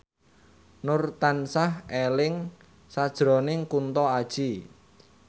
Nur tansah eling sakjroning Kunto Aji